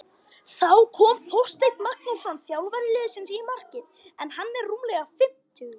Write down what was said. Þá kom Þorsteinn Magnússon þjálfari liðsins í markið en hann er rúmlega fimmtugur.